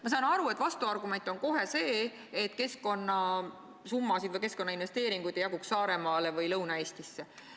Ma saan aru, et vastuargument on kohe see, et keskkonnasummasid ei jaguks siis Saaremaale ega Lõuna-Eestisse.